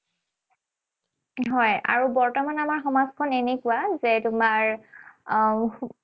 হয়, আৰু বৰ্তমান আমাৰ সমাজখন এনেকুৱা যে তোমাৰ আহ